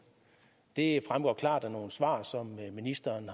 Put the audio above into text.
det fremgår klart af nogle svar som ministeren